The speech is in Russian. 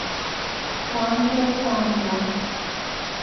танкер танго